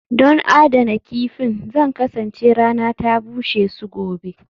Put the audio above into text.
Don adana kifin, Zan kasance rana ta bushe su gobe